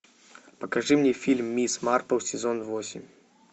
покажи мне фильм мисс марпл сезон восемь